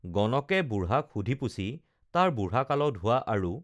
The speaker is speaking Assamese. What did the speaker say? গণকে বুঢ়াক সুধি পুচি তাৰ বুঢ়াকালত হোৱা আৰু